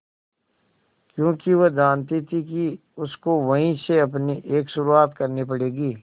क्योंकि वह जानती थी कि उसको वहीं से अपनी एक शुरुआत करनी पड़ेगी